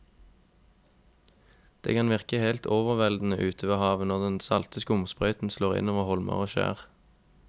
Det kan virke helt overveldende ute ved havet når den salte skumsprøyten slår innover holmer og skjær.